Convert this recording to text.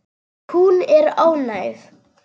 Hún er óánægð.